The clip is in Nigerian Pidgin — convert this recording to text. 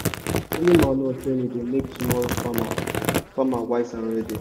na early manure training dey make tomorrow farmer farmer wise and ready.